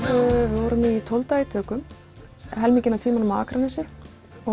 vorum tólf daga í tökum helminginn af tímanum á Akranesi og